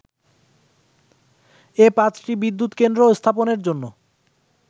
এ পাঁচটি বিদ্যুত কেন্দ্র স্থাপনের জন্য